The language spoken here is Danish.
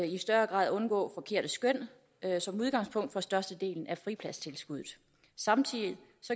i større grad undgå forkerte skøn som udgangspunkt for størstedelen af fripladstilskud samtidig